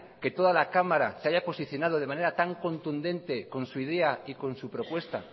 que toda la cámara se haya posicionado de manera tan contundente con su idea y con su propuesta